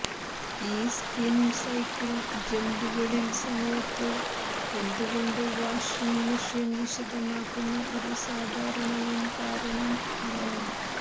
ഈ spin cycle ജമ്പുകളിൽ സമയത്ത് എന്തുകൊണ്ട് വാഷിംഗ് മെഷീൻ വിശദമാക്കുന്ന ഒരു സാധാരണവും കാരണം ആണ്